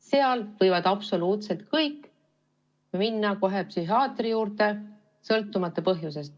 Seal võivad absoluutselt kõik minna kohe psühhiaatri juurde, sõltumata põhjusest.